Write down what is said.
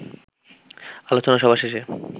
আলোচনা সভা শেষে